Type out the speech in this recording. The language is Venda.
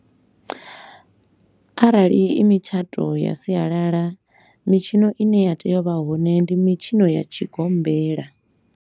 Arali i mitshato ya sialala, mitshino i ne ya tea u vha hone ndi mitshino ya tshigombela.